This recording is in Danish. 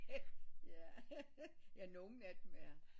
Ja ja nogle af dem er